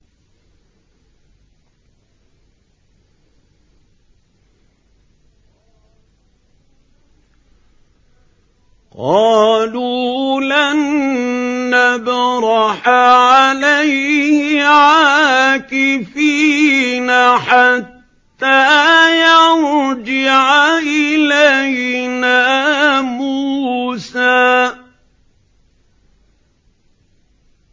قَالُوا لَن نَّبْرَحَ عَلَيْهِ عَاكِفِينَ حَتَّىٰ يَرْجِعَ إِلَيْنَا مُوسَىٰ